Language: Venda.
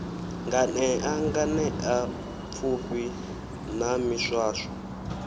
nganea nganea pfufhi na miswaswo